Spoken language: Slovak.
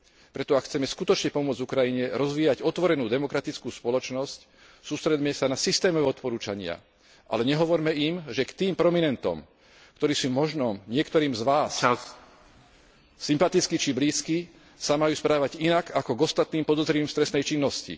Preto, ak chceme skutočne pomôcť Ukrajine rozvíjať otvorenú demokratickú spoločnosť, sústreďme sa na systémové odporúčania, ale nehovorme im, že k tým prominentom, ktorí sú možno niektorým z vás sympatickí či blízki sa majú správať inak ako k ostatným podozrivým z trestnej činnosti.